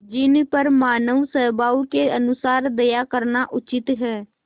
जिन पर मानवस्वभाव के अनुसार दया करना उचित है